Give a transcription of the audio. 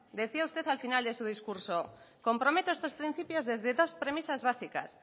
decía usted al final de su discurso comprometo estos principios desde dos premisas básicas